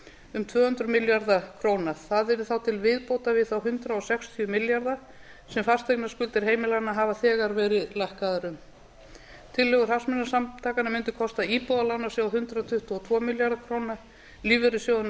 um tvö hundruð milljarða króna það yrði þá til viðbótar við þá hundrað sextíu milljarða sem fasteignaskuldir heimilanna hafa þegar verið lækkaðar um tillögur hagsmunasamtakanna mundu kosta íbúðalánasjóð hundrað tuttugu og tvo milljarða króna lífeyrissjóðina